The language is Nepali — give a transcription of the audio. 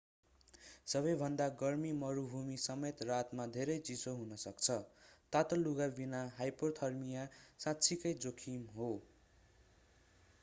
सबैभन्दा गर्मी मरुभूमि समेत रातमा धेरै चिसो हुन सक्छ तातो लुगा बिना हाइपोथर्मिया साँच्चिकै जोखिम हो